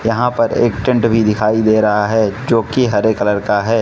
यहां पर एक टेंट भी दिखाई दे रहा है जो कि हरे कलर का है।